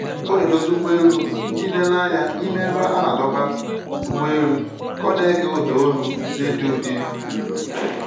Ọ na-edozi ụgbọ elu ndị nlereanya n'ime ebe a na-adọba ụgbọ elu ka ọ na-ege ụda olu redio dị nro